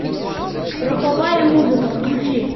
роковая музыка включи